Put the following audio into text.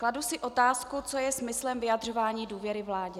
Kladu si otázku, co je smyslem vyjadřování důvěry vládě.